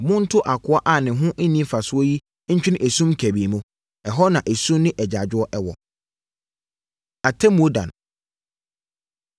Monto akoa a ne ho nni mfasoɔ yi ntwene esum kabii mu: ɛhɔ na esu ne agyaadwoɔ wɔ.’ Atemmuo Da No